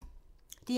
DR2